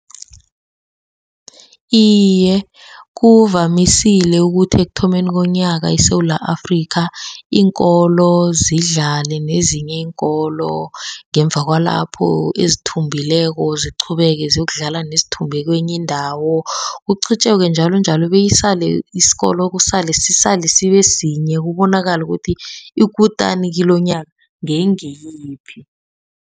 Iye, kuvamisile ukuthi ekuthomeni komnyaka eSewula Afrika iinkolo zidlale nezinye iinkolo. Ngemva kwalapho ezithumbile ziqhubeke ziyokudlala nezithumbe kwenye indawo. Kuqhutjekwe njalo njalo beyisale isikolo, kusale sisale sibe sinye kubonakale ukuthi ikutani kilomnyaka ngengiyiphi.